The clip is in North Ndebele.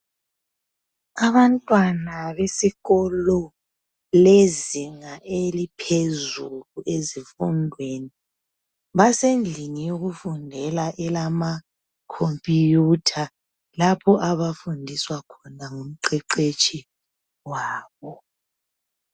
Abantwana besikolo lezinga eliphezulu ezifundweni basendlini yokufundela ama computer , lapho abafundiswa khona ngumqeqetshi wabo